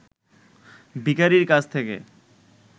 ভিখারির কাছ থেকে